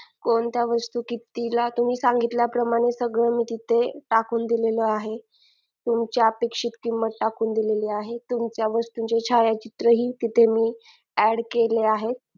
कोणत्या वस्तू कितीला तुम्ही सांगितल्याप्रमाणे सगळं मी तिथे टाकून दिलेलं आहे तुमच्या अपेक्षित किंमत टाकून दिलेली आहे तुमच्या वस्तूचे छायाचित्रही तिथे मी add केले आहे